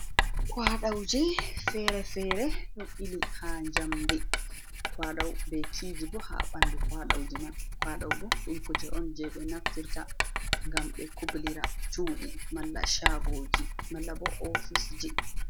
Kwaɗoji fere-fere ɗo ɓili ha jamde, kwaɗo be kiji bo ha ɓandu kwaɗauji man, kwaɗau bo ɗum kuje on je ɓe naftirta gam ɓe kublira chuɗi, malla shagoji, mallabo ofisji.